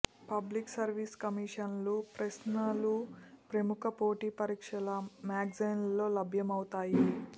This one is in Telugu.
పబ్లిక్ సర్వీస్ కమిషన్ల ప్రశ్నలు ప్రముఖ పోటీ పరీక్షల మ్యాగజీన్లలో లభ్యమవుతాయి